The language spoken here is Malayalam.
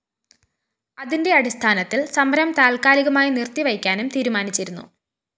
അതിന്റെ അടിസ്ഥാനത്തില്‍ സമരം താത്കാലികമായി നിര്‍ത്തിവയ്ക്കാനും തീരുമാനിച്ചിരുന്നു